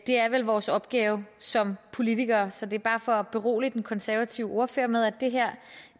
det er vel vores opgave som politikere så det er bare for at berolige den konservative ordfører med at